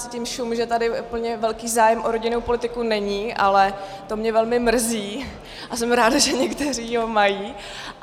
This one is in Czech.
Cítím šum, že tady úplně velký zájem o rodinnou politiku není, ale to mě velmi mrzí a jsem ráda, že někteří ho mají.